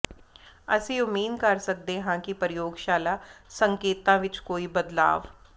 ਅਸੀਂ ਉਮੀਦ ਕਰ ਸਕਦੇ ਹਾਂ ਕਿ ਪ੍ਰਯੋਗਸ਼ਾਲਾ ਸੰਕੇਤਾਂ ਵਿੱਚ ਕੋਈ ਬਦਲਾਵ